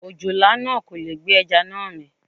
Òjòlá náà kò lè gbé ajá náà mì.